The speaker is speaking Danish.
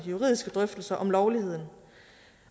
juridiske drøftelser om lovligheden